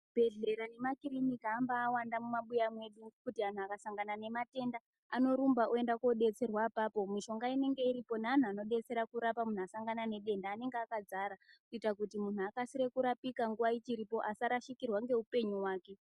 Zvibhedhlera nemakirinika ambawanda mumabuya medu zvekuti antu akasangana nemayenda anorumba oenda kudetserwa apapo mushonga inenge iripo nevanhu anodetsera kurapa muntu wasangana nedenda anenge akadzara kuitira kuti muntu akasire kurapika nguwa ichiripo asarashikirwa neupenyu hwake.